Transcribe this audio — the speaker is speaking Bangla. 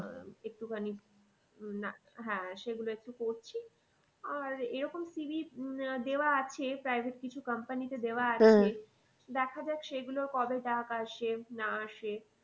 একটুখানি হ্যাঁ সে গুলো একটু করছি আর এরকম CV উম আহ দেওয়া আছে private কিছু company তে দাওয়া দেখা যাক সেগুলোর কবে ডাক আসে না আসে